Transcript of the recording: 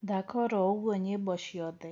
thaka oro uguo nyĩmbo cĩothe